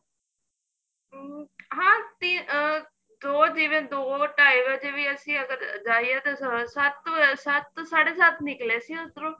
ਹਮ ਹਾਂ ਅਹ ਦੋ ਜਿਵੇਂ ਦੋ ਢਾਈ ਵਜੇ ਵੀ ਅਸੀਂ ਅਗਰ ਜਾਈਏ ਤਾਂ ਸੱਤ ਵਜੇ ਸੱਤ ਸਾਡੇ ਸੱਤ ਨਿਕਲੇ ਸੀ ਉੱਧਰੋ